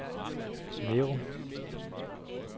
Nærum